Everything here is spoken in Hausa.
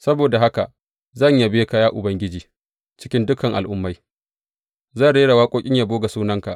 Saboda haka, zan yabe ka, ya Ubangiji cikin dukan al’ummai; Zan rera waƙoƙin yabo ga sunanka.